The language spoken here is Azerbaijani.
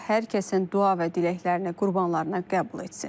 Allah hər kəsin dua və diləklərini, qurbanlarını qəbul etsin.